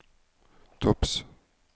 topps